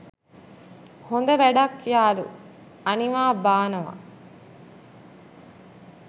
හොද වැඩක් යාළු අනිවා බානවා.